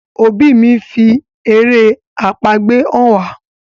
òbí mí ńfi èrè àpagbè hàn wá.